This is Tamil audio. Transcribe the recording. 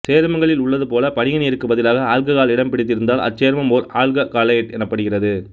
சேர்மங்களில் உள்ளது போல படிகநீருக்குப் பதிலாக ஆல்ககால் இடம் பிடித்திருந்தால் அச்சேர்மம் ஓர் ஆல்ககாலேட்டு எனப்படுகிறது